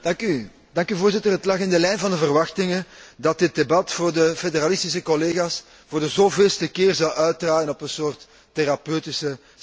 Voorzitter, het lag in de lijn van de verwachtingen dat dit debat voor de federalistische collega's voor de zoveelste keer zou uitdraaien op een soort therapeutische sessie.